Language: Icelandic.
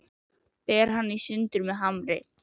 Ber hann í sundur með hamri.